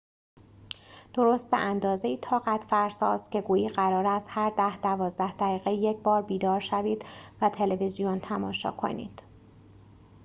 درست به‌اندازه‌ای طاقت‌فرساست که گویی قرار است هر ده دوازده دقیقه یکبار بیدار شوید و تلویزیون تماشا کنید